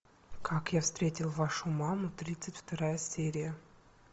как я встретил вашу маму тридцать вторая серия